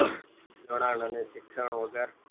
જોડાણ અને શિક્ષણ વગર